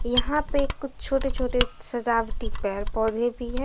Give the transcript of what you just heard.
यहां पे कुछ छोटे छोटे सजावटी पेड़ पौधे भी हैं।